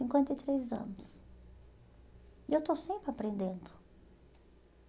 cinquenta e três anos. E eu estou sempre aprendendo.